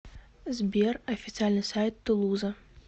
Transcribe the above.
сбер официальный сайт тулуза